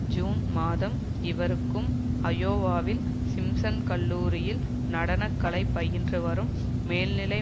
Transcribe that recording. June மாதம் இவருக்கும் அயோவாவில் சிம்சன் கல்லூரியில் நடன கலை பயின்று வரும் மேல்நிலை